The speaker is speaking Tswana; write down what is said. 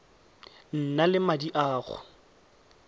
nang le madi a go